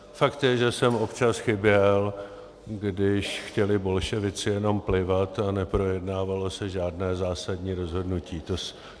Fakt je, že jsem občas chyběl, když chtěli bolševici jenom plivat a neprojednávalo se žádné zásadní rozhodnutí.